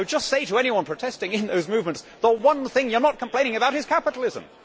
I would just say to anyone protesting in those movements the one thing you are not complaining about is capitalism.